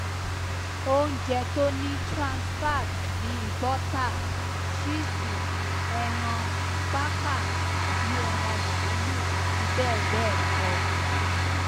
ounjẹ tó ni transfat bíi bọtà chísì ẹran pákà tàbí ẹran máàlúù àti bẹẹ bẹẹ kọ